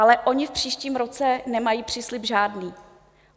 Ale oni v příštím roce nemají příslib žádný.